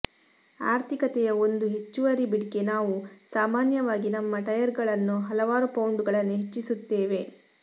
ಆರ್ಥಿಕತೆಯ ಒಂದು ಹೆಚ್ಚುವರಿ ಬಿಟ್ಗೆ ನಾವು ಸಾಮಾನ್ಯವಾಗಿ ನಮ್ಮ ಟೈರ್ಗಳನ್ನು ಹಲವಾರು ಪೌಂಡುಗಳನ್ನು ಹೆಚ್ಚಿಸುತ್ತೇವೆ